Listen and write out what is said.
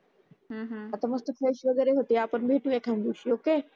आता मस्त फ्रेश वगैरे होते आपण भेटू एका दिवशी ओके